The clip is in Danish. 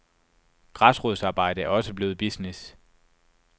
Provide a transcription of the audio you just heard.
Græsrodsarbejde er også blevet business.